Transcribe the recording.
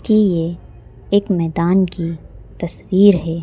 कि यह एक मैदान की तस्वीर है।